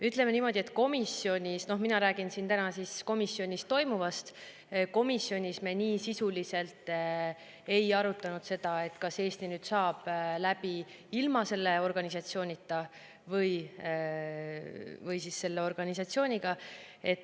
Ütleme niimoodi, et mina räägin siin täna komisjonis toimunust ja komisjonis me nii sisuliselt ei arutanud seda, kas Eesti saaks läbi ilma selle organisatsioonita.